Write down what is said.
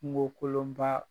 Kungo kolonba